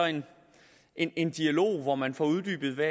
en en dialog hvor man får uddybet